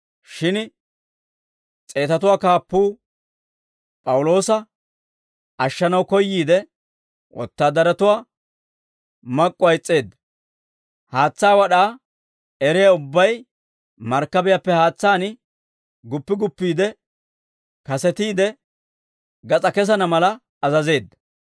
Shin s'eetatuwaa kaappuu P'awuloosa ashshanaw koyyiide, wotaadaratuwaa mak'k'uwaa is's'eedda; haatsaa wad'aa eriyaa ubbay markkabiyaappe haatsaan guppi guppiide kasetiide gas'aa kesana mala azazeedda.